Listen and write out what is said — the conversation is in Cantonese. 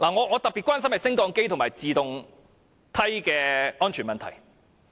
我特別關心升降機及自動梯的安全問題。